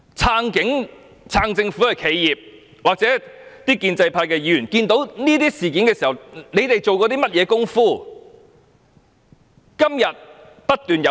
"撐警"、撐政府的企業和建制派議員看到這些事件，做過甚麼工夫呢？